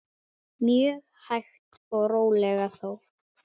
Mjög hægt og rólega þó.